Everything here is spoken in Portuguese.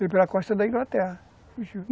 Veio pela costa da Inglaterra, fugiu.